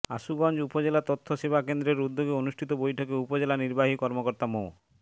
আশুগঞ্জ উপজেলা তথ্য সেবা কেন্দ্রের উদ্যোগে অনুষ্ঠিত বৈঠকে উপজেলা নির্বাহী কর্মকর্তা মো